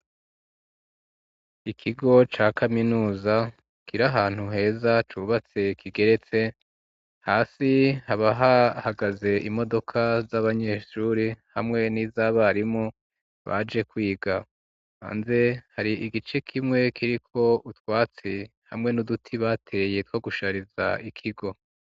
Ikigo ca kaminuza kiri ahantu heza cubatse kigeretse, hasi haba hahagaze imodoka z'abanyeshuri hamwe n'izabarimu baje kwiga, hanze hari igice kimwe kiri ko utwatsi hamwe n'uduti bateye two gushariza ikigo.